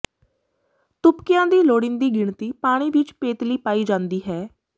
ਤੁਪਕਿਆਂ ਦੀ ਲੋੜੀਂਦੀ ਗਿਣਤੀ ਪਾਣੀ ਵਿੱਚ ਪੇਤਲੀ ਪਾਈ ਜਾਂਦੀ ਹੈ